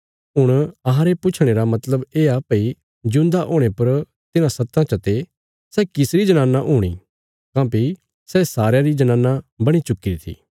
हुण अहांरे पुछणे रा मतलब येआ भई जिऊंदा हुणे पर तिन्हां सत्तां चते सै किसरी जनाना हूणी काँह्भई सै सारयां री जनाना बणी चुक्कीरी थी